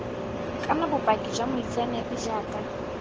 kana bopaki jwa moitseanape jaaka